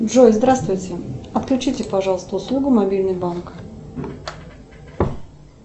джой здравствуйте отключите пожалуйста услугу мобильный банк